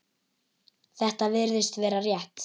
Þetta virðist vera rétt.